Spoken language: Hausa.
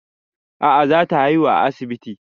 A'a za ta haihu a asibiti